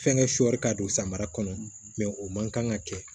Fɛnkɛ sɔɔri ka don samara kɔnɔ o man kan ka kɛ